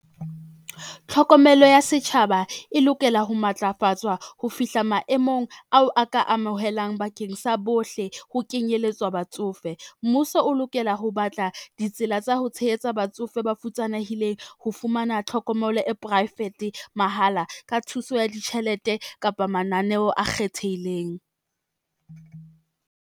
Tlhokomelo ya setjhaba e lokela ho matlafatswa ho fihla maemong ao a ka amohelang bakeng sa bohle ho kenyelletswa batsofe. Mmuso o lokela ho batla ditsela tsa ho tshehetsa batsofe ba futsanehileng ho fumana tlhokomelo e poraefete mahala, ka thuso ya ditjhelete kapa mananeo a kgethehileng.